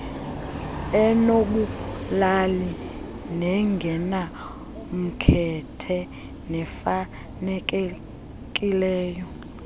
enobulali nengenamkhethe nefanelekileyo